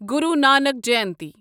Guru Nanak Jayanti